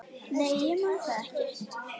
Nei, ég man það ekki.